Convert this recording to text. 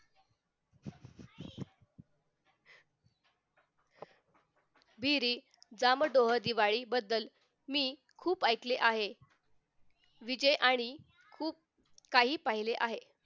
विहिरी जाम डोह दिवाळीबद्दल मी खूप ऐकले आहे विजय आणि खूप काही पाहिजे.